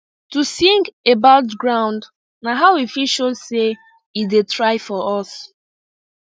to sing about ground na how we fit show say e da try for us